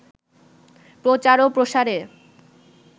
প্রচার ও প্রসারে